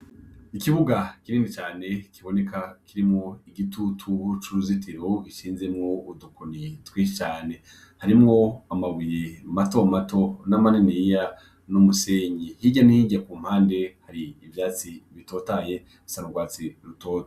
Ikibuga kinini cane kiboneka kirimwo igitutu c'uruzitiro; gishinzemwo udukoni twinshi cane ; harimwo amabuye mato mato na maniniya, n'umusenyi. Hirya no hirya ku mpande hari ivyatsi bitotahaye bisa n'urwatsi rutoto.